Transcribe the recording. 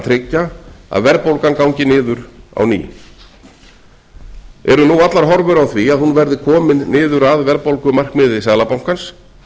tryggja að verðbólgan gangi niður á ný eru allar horfur á því að hún verði komin niður að verðbólgumarkmiði seðlabankans